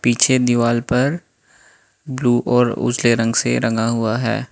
पीछे दीवाल पर ब्लू और उजले रंग से रंगा हुआ है।